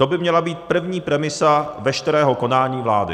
To by měla být první premisa veškerého konání vlády.